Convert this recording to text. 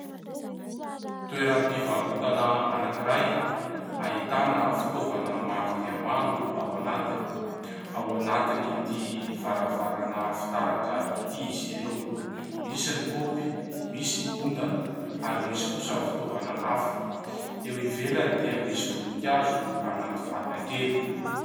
Toeram-piarotana anankiray, ahitana fitaovana maro dia maro ao anatiny. Ao anatin'itỳ varavarana fitaratra itỳ izy ireo. Misy ny kaopy, misy ny ondana, ary misy kosa ny fitaovana hafa. Eo ivelany dia misy voninkazo anaty vata kely.